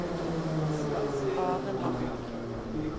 Aremark